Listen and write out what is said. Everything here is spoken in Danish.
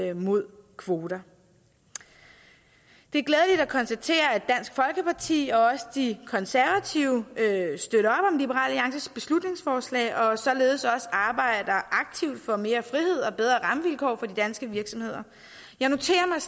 imod kvoter det er glædeligt at konstatere at dansk folkeparti og også de konservative støtter liberal alliances beslutningsforslag og således også arbejder aktivt for mere frihed og bedre rammevilkår for de danske virksomheder jeg noterer mig